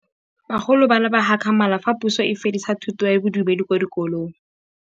Bagolo ba ne ba gakgamala fa Pusô e fedisa thutô ya Bodumedi kwa dikolong.